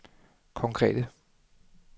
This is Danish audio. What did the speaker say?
konkrete